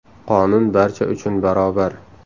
Qonun barcha uchun barobar.